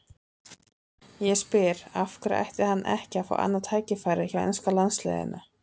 Ég spyr: Af hverju ætti hann ekki að fá annað tækifæri hjá enska landsliðinu?